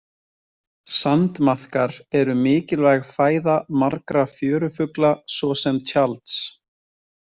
Sandmaðkar eru mikilvæg fæða margra fjörufugla svo sem tjalds.